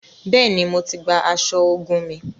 Bẹẹni, Mó tí gbà aṣọ ogún mí